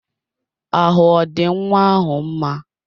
Ahụ ọ dị nwa ahụ mma?